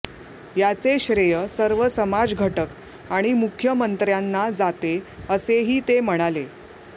ह्याचे श्रेय सर्व समाजघटक आणि मुख्यमंत्र्यांना जाते असेही ते म्हणाले